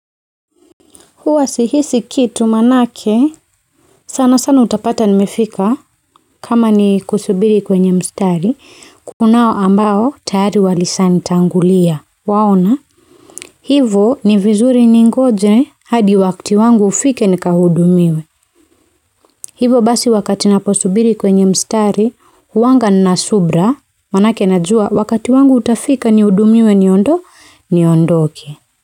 Huwa sihisi kitu maanake sana sana utapata nimefika kama ni kusubiri kwenye mstari kunao ambao tayari walishanitangulia, unaona, hivo ni vizuri ningoje hadi wakati wangu ufike nikahudumiwe hivo basi wakati naposubiri kwenye mstari huanga nina subira maanake najua wakati wangu utafika nihudumiwe niondo niondoke.